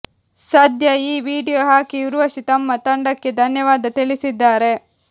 ಸದ್ಯ ಈ ವಿಡಿಯೋ ಹಾಕಿ ಊರ್ವಶಿ ತಮ್ಮ ತಂಡಕ್ಕೆ ಧನ್ಯವಾದ ತಿಳಿಸಿದ್ದಾರೆ